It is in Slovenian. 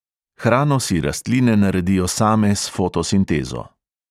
Hrano si rastline naredijo same s fotosintezo.